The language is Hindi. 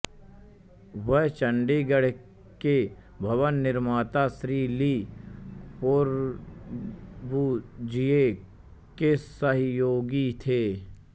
वह चंडीगड़ के भवन निर्माता श्री ली कोर्बुज़िए के सहियोगी थे